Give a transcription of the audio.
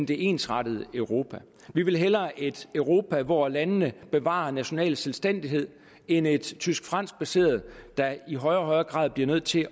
det ensrettede europa vi vil hellere et europa hvor landene bevarer national selvstændighed end et tysk fransk baseret der i højere og højere grad bliver nødt til